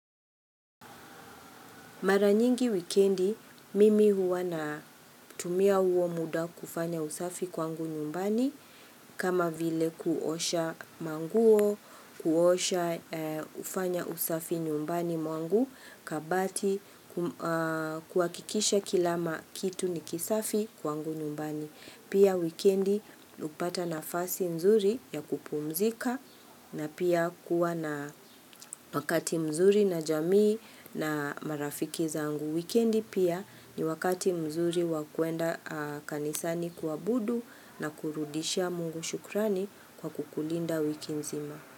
Mara nyingi wikendi mimi huwa na tumia huo muda kufanya usafi kwangu nyumbani kama vile kuosha manguo, kuosha kufanya usafi nyumbani mwangu kabati kuhakikisha kila kitu ni kisafi kwangu nyumbani. Pia wikendi hukupata nafasi mzuri ya kupumzika na pia kuwa na wakati mzuri na jamii na marafiki zangu. Wikendi pia ni wakati mzuri wakuenda kanisani kuabudu na kurudishia mungu shukrani kwa kukulinda wiki mzima.